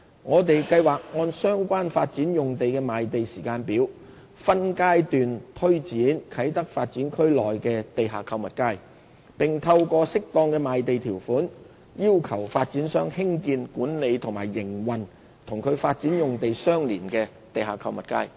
我們計劃按相關發展用地的賣地時間表，分階段推展啟德發展區內的地下購物街，並透過適當的賣地條款，要求發展商興建、管理及營運與其發展用地相連的地下購物街。